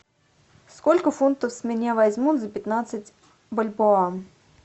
сколько фунтов с меня возьмут за пятнадцать бальбоа